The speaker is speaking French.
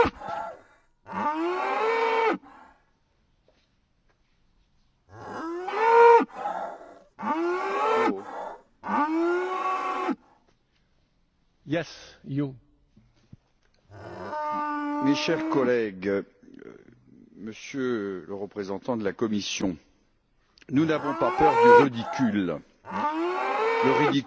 Monsieur le Président, mes chers collègues, Monsieur le représentant de la Commission, nous n'avons pas peur du ridicule. Si le ridicule tuait, notre assemblée serait disséminée ce soir vu le nombre de présents, je suis d'accord, ce ne serait pas trop grave.